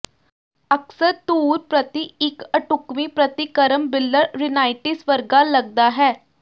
ਅਕਸਰ ਧੂੜ ਪ੍ਰਤੀ ਇੱਕ ਅਢੁਕਵੀਂ ਪ੍ਰਤੀਕਰਮ ਬਿਲਲ ਰਿੰਨਾਈਟਿਸ ਵਰਗਾ ਲਗਦਾ ਹੈ